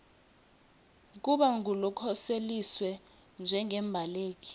kuba ngulokhoseliswe njengembaleki